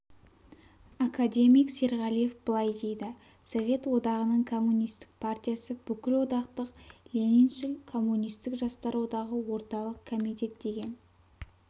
академик серғалиев былай дейді совет одағының коммунистік партиясы бүкілодақтық лениншіл коммунистік жастар одағы орталық комитет деген